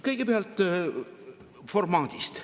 Kõigepealt formaadist.